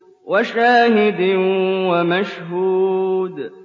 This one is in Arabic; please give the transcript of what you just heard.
وَشَاهِدٍ وَمَشْهُودٍ